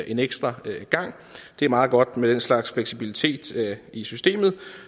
en ekstra gang det er meget godt med den slags fleksibilitet i systemet